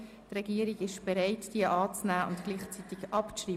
Die Regierung ist bereit, diese anzunehmen und gleichzeitig abzuschreiben.